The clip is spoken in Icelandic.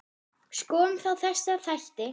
Skoðum þá þessa þætti.